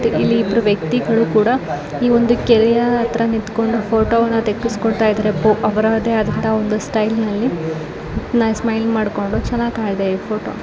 ಇಲ್ಲಿ ಇಬ್ಬರು ವ್ಯಕ್ತಿಗಳು ಕೂಡ ಈ ಒಂದು ಕೆರೆಯ ಹತ್ತರ ನಿಂತ್ಕೊಂಡು ಫೋಟೊ ವನ್ನ ಠಕ್ಕಿಸ್ಕೊತಾಯಿದ್ದಾರೆ ಪೋ ಅವ್ರದೇ ಆದ ಅಂತ ಒಂದು ಸ್ಟೈಲ್ ನಲ್ಲಿ ಸ್ಮೈಲ್ ಮಾಡ್ಕೊಂಡು ಚನ್ನಾಗ್ ಇದೆ ಈ ಫೋಟೊ .